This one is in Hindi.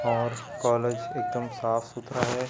और कॉलेज एकदम साफ सुथरा है।